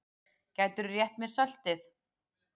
Gætirðu rétt mér saltið?